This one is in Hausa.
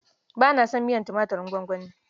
Ba na son miyar tumaturin gwangwani.